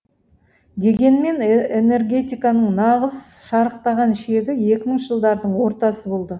дегенмен энергетиканың нағыз шарықтаған шегі екі мыңыншы жылдардың ортасы болды